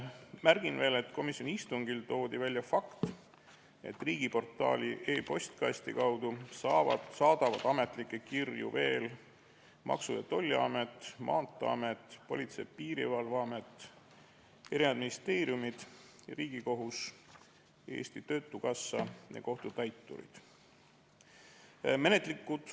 Märgin veel, et komisjoni istungil toodi välja fakt, et riigiportaali e-postkasti kaudu saadavad ametlikke kirju veel Maksu- ja Tolliamet, Maanteeamet, Politsei- ja Piirivalveamet, ministeeriumid, Riigikohus, Eesti Töötukassa ja kohtutäiturid.